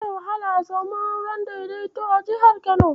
Zai wahala a samu auren daidaito a jihar Kano.